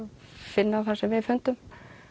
finna það sem við fundum